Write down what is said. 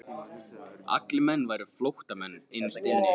Allir menn væru flóttamenn innst inni.